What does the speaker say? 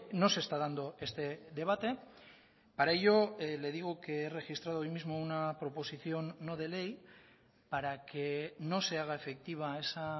no se está dando este debate para ello le digo que he registrado hoy mismo una proposición no de ley para que no se haga efectiva esa